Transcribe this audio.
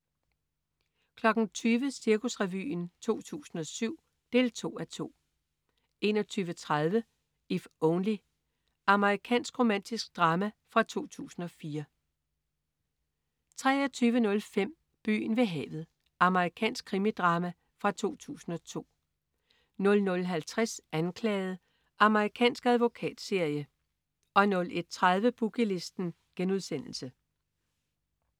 20.00 Cirkusrevyen 2007 2:2 21.30 If Only. Amerikansk romantisk drama fra 2004 23.05 Byen ved havet. Amerikansk krimidrama fra 2002 00.50 Anklaget. Amerikansk advokatserie 01.30 Boogie Listen*